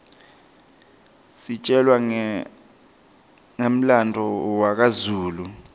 sitjelwa ngemlandvo washaka zulu